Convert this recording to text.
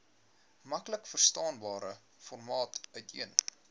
maklikverstaanbare formaat uiteen